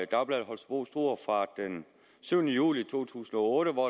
dagbladet holstebro struer fra den syvende juli to tusind og otte hvor